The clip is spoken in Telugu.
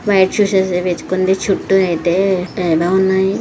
వైట్ షూస్ అయితే వేసుకుంది. చుట్టూ అయితే తేడా ఉన్నాయి.